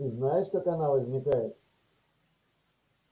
ты знаешь как она возникает